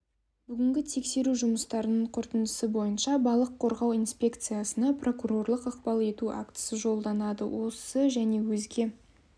бүгінгі тексеру жұмыстарының қорытындысы бойынша балық қорғау инспекциясына прокурорлық ықпал ету актісі жолданады осы және өзге